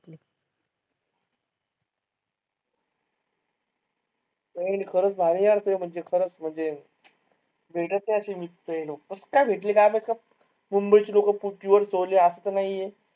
हो यार खरंच भारी आहे यार तू म्हणजे खरंच म्हणजे कसकाय भेटली काय माहित मुंबई ची लोक असं तर नाहीये.